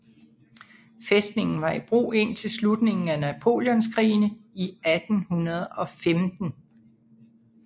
Fæstningen var i brug indtil slutningen af napoleonskrigene i 1815